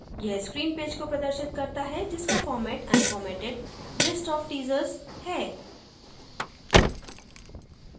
यह screen page को प्रदर्शित करता है जिसका format unformatted list of teasers है